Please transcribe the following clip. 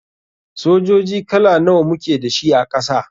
Sojoji kala nawa muke da shi a Ƙasa?